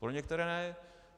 Pro některé ne.